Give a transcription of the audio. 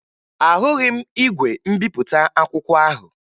Ahụghị m igwe mbipụta akwụkwọ ahụ